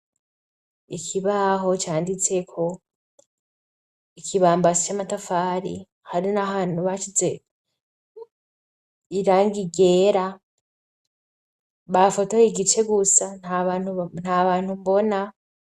Ikibaho canditseko, ikibambasi c'amatafari hari n'ahantu basize irangi ryera, bafotoye igice gusa nta bantu mbona.